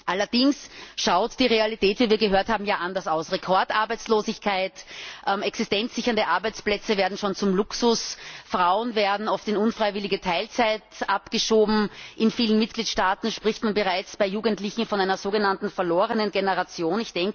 Allerdings schaut die Realität wie wir gehört haben anders aus. Es herrscht Rekordarbeitslosigkeit, existenzsichernde Arbeitsplätze werden schon zum Luxus, Frauen werden oft in unfreiwillige Teilzeitarbeit abgeschoben, in vielen Mitgliedstaaten spricht man bereits bei Jugendlichen von einer sogenannten verlorenen Generation.